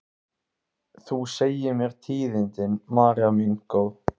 Þú segir mér tíðindin, María mín góð.